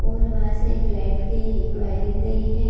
और वहाँ से एक लाइट की वायरिंग गई है।